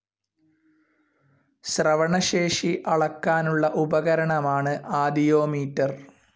ശ്രവണശേഷി അളക്കാനുള്ള ഉപകരണമാണ് ആദിയോമീറ്റർ.